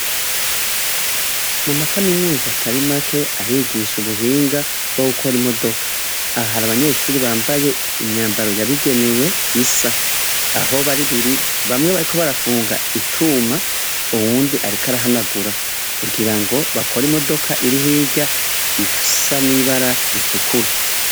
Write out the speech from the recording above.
Muma kaminuza Atari make arigisha ubuhinga bwo gukora imodoka, aha har’abanyeshure bambaye imyambaro yabigenewe isa . Aho bari biri bamwe bariko barafunga icuma , uwundi ariko arahanagura, kugirango bakora imodoka iri hirya isa n’ibara ritukura.